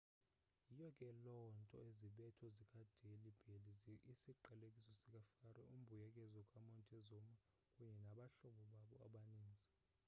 yiyo ke loo nto izibetho zikadelhi belly isiqalekiso sikafaro umbuyekezo kamontezuma kunye nabahlobo babo abaninzi